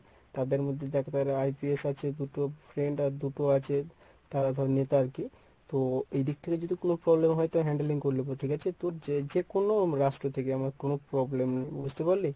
তাদের মধ্যে দেখ IPS আছে দুটো friend আর দুটো আছে তারা ধর নেতা আরকি। তো এই দিক থেকে যদি কোনো problem হয় তো handling করে নেব ঠিকাছে? তোর যে যেকোন রাষ্ট্র থেকে আমার কোনো problem নেই বুঝতে পারলি?